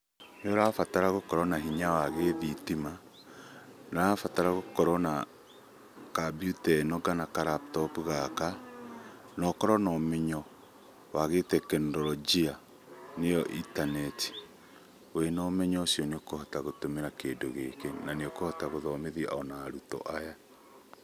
Nĩũrabatara gũkorwo na hinya wa gĩ thitima. Nĩũrabatara gũkorwo na kabiuta ĩno kana ka [laptop] gaka na ũkorwo na ũmenyo wa gĩ tekinoronjia nĩyo intaneti. Wĩna ũmenyo ũcio nĩũkũhota kũhũthĩra kĩndũ gĩkĩ na nĩũkũhota gũthomithia ona arutwo aya.